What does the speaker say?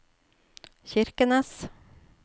Kirkenes